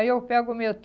Aí eu pego o